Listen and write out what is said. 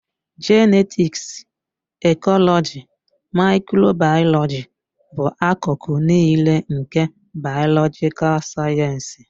Jenetiksi, ekọlọji, maịkrobayọlọji bụ akụkụ niile nke bayolojikal sayensị